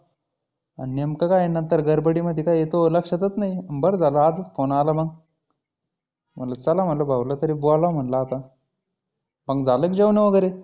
आन नेमकं काय आहे गडबडी मध्ये काय हे तुह लक्षातचं नाही. बरं झालं आजच फोन आला मग. म्हटलं चला म्हटलं भाऊला तरी बोलावं म्हटलं आता. मग झाले का जेवणं वगैरे?